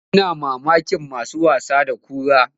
Ina mamakin masu wasa da kura.